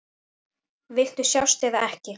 Viltu sjást eða ekki?